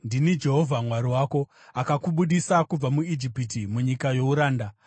“Ndini Jehovha Mwari wako, akakubudisa kubva muIjipiti, munyika youranda.